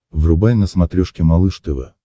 врубай на смотрешке малыш тв